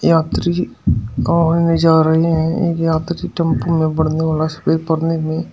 यह एक यात्री टेंपो में वाला सफेद--